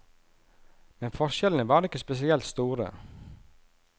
Men forskjellene var ikke spesielt store.